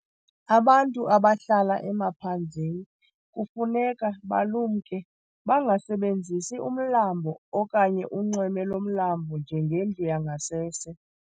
Abantu abahlala emaphandleni kufuneka balumke bangasebenzisi umlambo okanye unxweme lomlambo njengendlu yangasese.